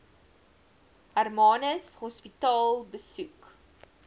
hermanus hospitaal besoek